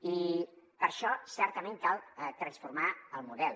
i per a això certament cal transformar el model